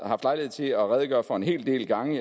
haft lejlighed til at redegøre for en hel del gange